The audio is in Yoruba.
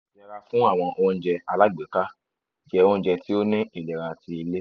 yẹra fun awọn ounjẹ alagbeka jẹ ounjẹ ti o ni ilera ti ile